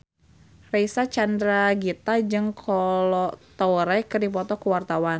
Reysa Chandragitta jeung Kolo Taure keur dipoto ku wartawan